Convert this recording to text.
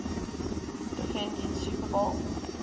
defending super bowl